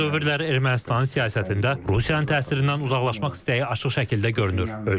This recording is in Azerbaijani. Son dövrlər Ermənistanın siyasətində Rusiyanın təsirindən uzaqlaşmaq səyi açıq şəkildə görünür.